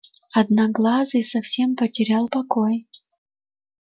одноглазый совсем потерял покой